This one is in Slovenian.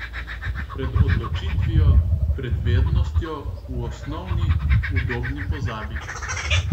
Pred odločitvijo, pred vednostjo, v osnovni, udobni pozabi.